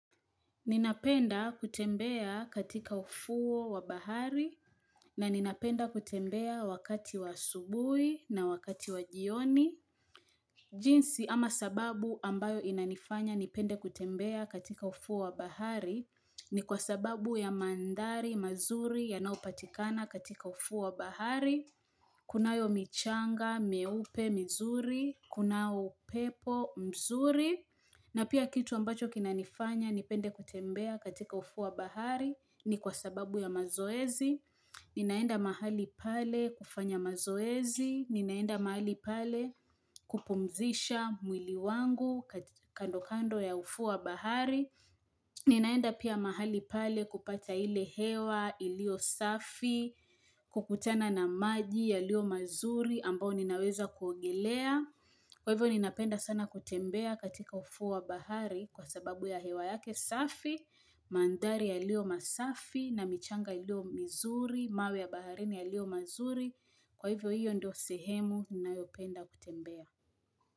Ninapenda kutembea katika ufuo wa bahari na ninapenda kutembea wakati wa asubui na wakati wa jioni. Jinsi ama sababu ambayo inanifanya nipende kutembea katika ufuo wa bahari ni kwa sababu ya mandhari mazuri yanaopatikana katika ufuo wa bahari. Kunayo michanga mweupe mzuri, kuna upepo mzuri, na pia kitu ambacho kina nifanya nipende kutembea katika ufuo bahari ni kwa sababu ya mazoezi, ninaenda mahali pale kufanya mazoezi, ninaenda mahali pale kupumzisha mwili wangu kando kando ya ufuo wa bahari, Ninaenda pia mahali pale kupata ile hewa ilio safi kukutana na maji yalio mazuri ambao ninaweza kuogelea kwa hivyo ninapenda sana kutembea katika ufuo wa bahari kwa sababu ya hewa yake safi Mandhari yalio masafi na michanga ilio mizuri mawe ya baharini yalio mazuri Kwa hivyo hivyo ndio sehemu ninayopenda kutembea.